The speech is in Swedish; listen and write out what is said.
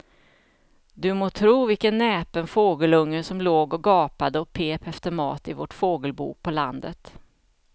Du må tro vilken näpen fågelunge som låg och gapade och pep efter mat i vårt fågelbo på landet.